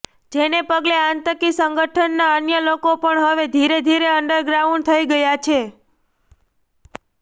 જેને પગલે આતંકી સંગઠનના અન્ય લોકો પણ હવે ધીરે ધીરે અન્ડરગ્રાઉન્ડ થઇ ગયા છે